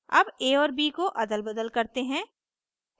अब a और b को अदलबदल करते हैं